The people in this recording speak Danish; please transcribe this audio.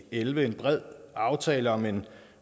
elleve en bred aftale om en